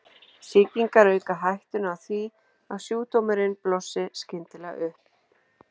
Sýkingar auka hættuna á því að sjúkdómurinn blossi skyndilega upp.